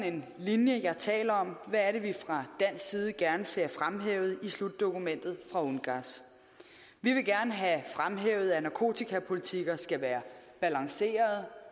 en linje jeg taler om hvad er det vi fra dansk side gerne ser fremhævet i slutdokumentet fra ungass vi vil gerne have fremhævet at narkotikapolitikker skal være balancerede